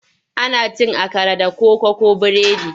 Ana cin akara da koko ko biredi.